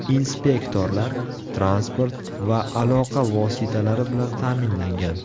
Inspektorlar transport va aloqa vositalari bilan ta’minlangan.